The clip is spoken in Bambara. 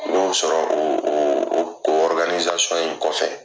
N y'o sɔrɔ o o o in kɔfɛ